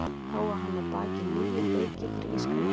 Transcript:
Þá á hann að baki níu leiki fyrir írska landsliðið.